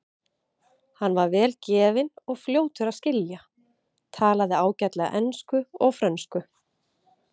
Hann var vel gefinn og fljótur að skilja, talaði ágætlega ensku og frönsku.